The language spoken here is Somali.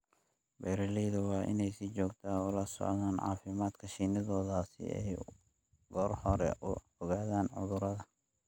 Beeralayda waa inay si joogto ah ula socdaan caafimaadka shinnidooda si ay goor hore u ogaadaan cudurrada.